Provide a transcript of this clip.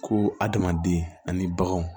Ko adamaden ani baganw